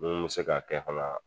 Mun mɛ se k'a kɛ fana